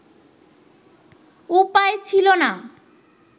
উপায় ছিল না